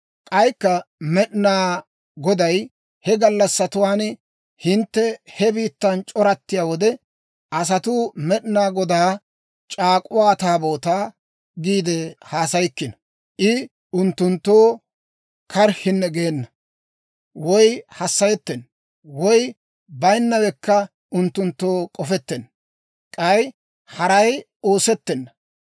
K'aykka Med'inaa Goday, «He gallassatuwaan hintte he biittan c'orattiyaa wode, asatuu, ‹Med'inaa Godaa C'aak'k'uwaa Taabootaa› giide haasayikkino. I unttunttoo karhinne geena, woy hassayettenna, woy bayinnawekka unttunttoo k'ofettenna; k'ay haray oosettenna.